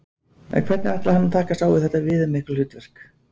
En hvernig ætlar hann að takast á við þetta viðamikla hlutverk?